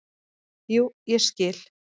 """Jú, ég skil."""